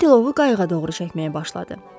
O tilovu qayığa doğru çəkməyə başladı.